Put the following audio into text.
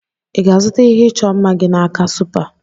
Ị ga-azụta ihe ịchọ mma gị n'aka Supa?